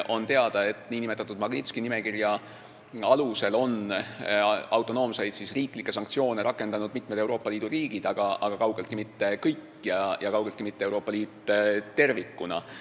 On teada, et nn Magnitski nimekirja alusel on autonoomseid riiklikke sanktsioone rakendanud mitmed Euroopa Liidu maad, aga kaugeltki mitte kõik ja kaugeltki mitte Euroopa Liit tervikuna.